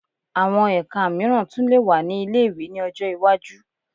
Àwọn ẹka mìíràn tún lè wà ní ilé-ìwé ní ọjọ́ iwájú